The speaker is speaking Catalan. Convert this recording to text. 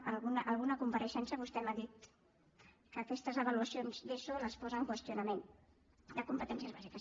a alguna compareixença vostè m’ha dit que aquestes avaluacions d’eso les posa en qüestió de competències bàsiques